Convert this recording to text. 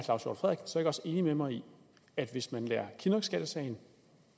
enig med mig i at hvis man lader kinnockskattesagen